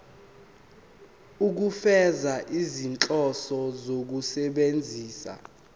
ukufeza izinhloso zokusebenzisa